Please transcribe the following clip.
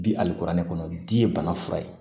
Bi hali kuranɛ kɔnɔ di bana fura ye